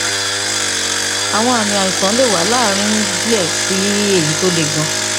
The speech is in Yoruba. àwọn àmì àìsàn lè wà láàárín díẹ sí èyí tó le gan